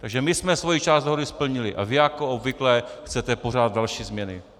Takže my jsme svoji část dohody splnili a vy, jako obvykle, chcete pořád další změny.